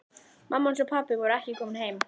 Mamma hans og pabbi voru ekki komin heim.